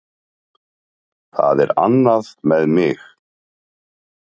Það er annað með mig.